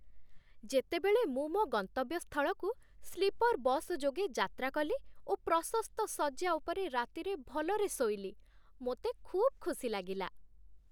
ଯେତେବେଳେ ମୁଁ ମୋ ଗନ୍ତବ୍ୟ ସ୍ଥଳକୁ ସ୍ଲିପର୍ ବସ୍ ଯୋଗେ ଯାତ୍ରା କଲି ଓ ପ୍ରଶସ୍ତ ଶଯ୍ୟା ଉପରେ ରାତିରେ ଭଲରେ ଶୋଇଲି, ମୋତେ ଖୁବ୍ ଖୁସି ଲାଗିଲା।